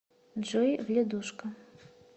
джой вледушка